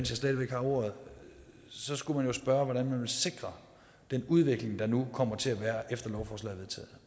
stadig væk har ordet så skulle man jo spørge hvordan man vil sikre den udvikling der nu kommer til at være efter lovforslaget